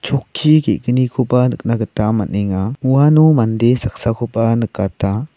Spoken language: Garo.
ge·gnikoba nikna gita man·enga uano mande saksakoba nikata.